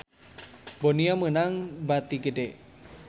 Bonia meunang bati gede